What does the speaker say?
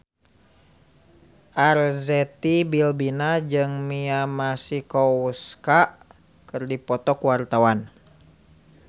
Arzetti Bilbina jeung Mia Masikowska keur dipoto ku wartawan